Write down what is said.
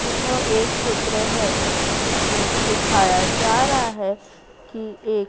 यह एक चित्र है जिसमें दिखाया जा रहा है कि एक--